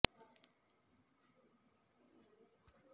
ಸಾಧಾರಣವಾಗಿ ಭಾವನೆಗಳ ಅಸ್ಥಿರತೆ ಅಥವಾ ತದ್ವಿರುದ್ಧದಲ್ಲಿ ಭಾವನೆಗಳ ಸ್ಥಿರತೆ ಎಂದೂ ಕರೆಯಬಹುದು